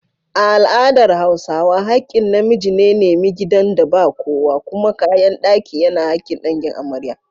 A al’adar Hausawa, hakkin na miji ne nemi gidan da ba kowa, kuma kayan daki yana hakkin dangin amarya.